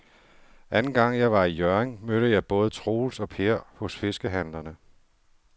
Anden gang jeg var i Hjørring, mødte jeg både Troels og Per hos fiskehandlerne.